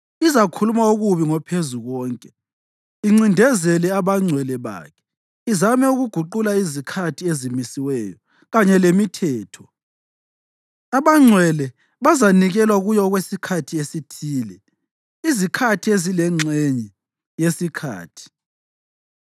Izakhuluma okubi ngoPhezukonke incindezele abangcwele bakhe izame ukuguqula izikhathi ezimisiweyo kanye lemithetho. Abangcwele bazanikelwa kuyo okwesikhathi esithile, izikhathi ezilengxenye yesikhathi.